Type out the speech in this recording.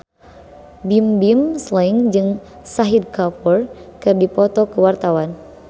Bimbim Slank jeung Shahid Kapoor keur dipoto ku wartawan